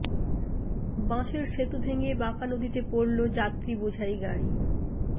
বাঁশের সেতু ভেঙে বাঁকা নদীতে পড়ল যাত্রী বোঝাই গাড়ি